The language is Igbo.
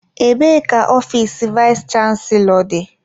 Ebee ka ofiisi vayis chansilọ dị?